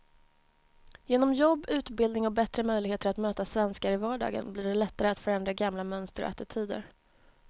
Genom jobb, utbildning och bättre möjligheter att möta svenskar i vardagen blir det lättare att förändra gamla mönster och attityder.